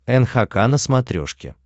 нхк на смотрешке